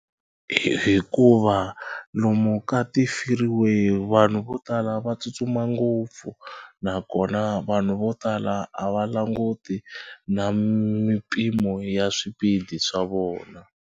hikuva lomu ka ti-free way vanhu vo tala va tsutsuma ngopfu nakona vanhu vo tala a va languti na mimpimo ya swipidi swa vona.